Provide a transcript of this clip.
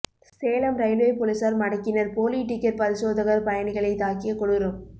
Salem railway போலீசார் மடக்கினர் போலி டிக்கெட் பரிசோதகர் பயணிகளை தாக்கிய கொடூரம்